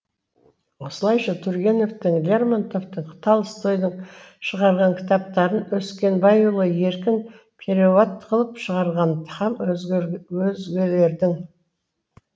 солайша тургеневтің лермонтовтың толстойдың шығарған кітаптарын өскенбайұлы еркін переуат қылып шығарған һәм өзгелердің